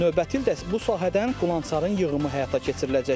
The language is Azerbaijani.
Növbəti ildə bu sahədən qulançarın yığımı həyata keçiriləcək.